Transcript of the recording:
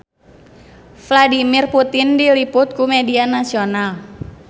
Vladimir Putin diliput ku media nasional